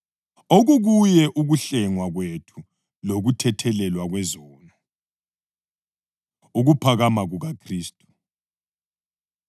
okukuyo ukuhlengwa kwethu lokuthethelelwa kwezono. Ukuphakama KukaKhristu